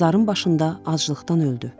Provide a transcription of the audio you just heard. Məzarın başında aclıqdan öldü.